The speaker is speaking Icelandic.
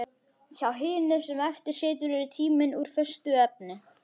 Hjá hinum sem eftir situr er tíminn úr föstu efni.